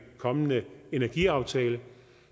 kommende energiaftale